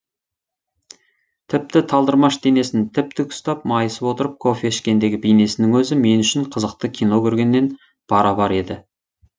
тіпті талдырмаш денесін тіп тік ұстап майысып отырып кофе ішкендегі бейнесінің өзі мен үшін қызықты кино көргенмен бара бар еді